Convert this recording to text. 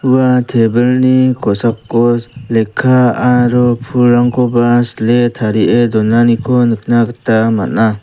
ua tebilni kosakos lekka aro pulrangkoba sile tarie donaniko nikna gita man·a.